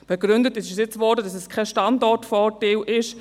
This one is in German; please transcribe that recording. Begründet wurde jetzt, dass es kein Standortvorteil sei.